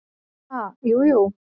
"""Ha, jú, jú"""